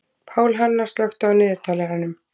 Pálhanna, slökktu á niðurteljaranum.